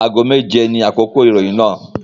Ago méje ní àkókò ìròyìn náà